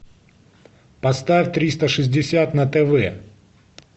поставь триста шестьдесят на тв